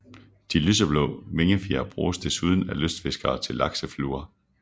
De lyseblå vingefjer bruges desuden af lystfiskere til laksefluer